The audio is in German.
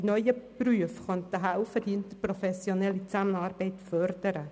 Die neuen Berufe könnten helfen, die interprofessionelle Zusammenarbeit zu fördern.